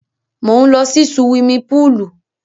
Mò ń lọ sí suwimi púùlù.